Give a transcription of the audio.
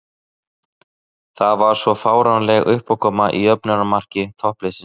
Það var svo fáránleg uppákoma í jöfnunarmarki toppliðsins.